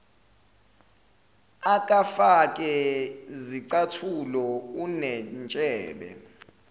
akafake zicathulo unentshebe